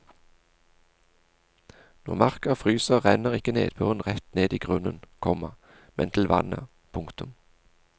Når marka fryser renner ikke nedbøren rett ned i grunnen, komma men til vannet. punktum